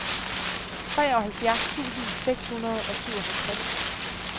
treoghalvfjerds tusind seks hundrede og syvoghalvtreds